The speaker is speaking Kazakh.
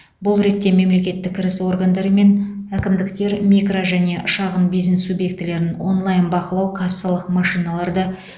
бұл ретте мемлекеттік кіріс органдары мен әкімдіктер микро және шағын бизнес субъектілерін онлайн бақылау кассалық машиналарды